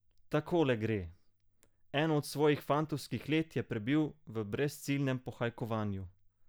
Takole gre: "Eno od svojih fantovskih let je prebil v brezciljnem pohajkovanju.